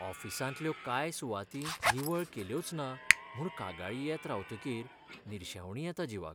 ऑफिसांतल्यो कांय सुवाती निवळ केल्योच ना म्हूण कागाळी येत रावतकीर निर्शेवणी येता जिवाक.